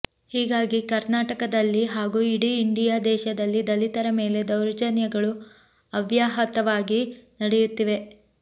ಹೀಗಾಗಿ ಕಾರ್ನಾಟಕದಲ್ಲಿ ಹಾಗೂ ಇಡೀ ಇಂಡಿಯಾ ದೇಶದಲ್ಲಿ ದಲಿತರ ಮೇಲೆ ದೌರ್ಜನ್ಯಗಳು ಅವ್ಯಾಹತವಾಗಿ ನಡೆಯುತ್ತಿವೆ